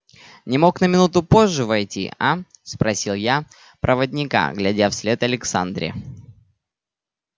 не мог на минуту позже войти а спросил я проводника глядя вслед александре